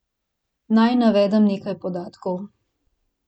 Naj navedem nekaj podatkov.